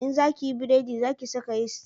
In za ki yi buredi za ki saka yisti